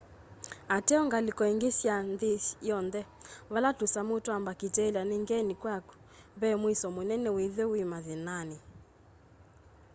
ateo ngaliko ingi sya nthi yonthe vala tusamu twa mbakitelia ni ngeni kwaku ve muisyo munene withwe wi mathinani